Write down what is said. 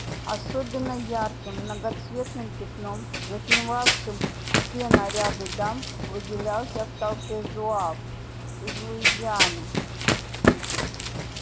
особенно ярким многоцветным пятном затмевавшим все наряды дам выделялся в толпе зуав из луизианы